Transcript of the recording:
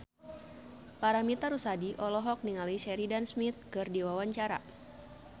Paramitha Rusady olohok ningali Sheridan Smith keur diwawancara